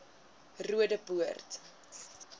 roodepoort